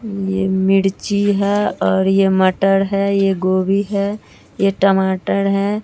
ये मिर्ची है और ये मटर है ये गोभी है ये टमाटर है।